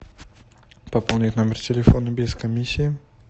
пополнить номер телефона без комиссии